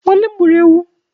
Nwannem gburu ewu